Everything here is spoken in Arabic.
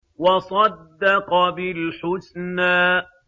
وَصَدَّقَ بِالْحُسْنَىٰ